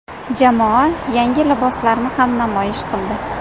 Jamoa yangi liboslarni ham namoyish qildi .